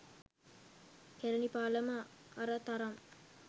කැළණි පාලම අර තරම්